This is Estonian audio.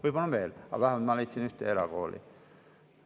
Võib-olla on veel, aga ma leidsin vähemalt ühe erakooli.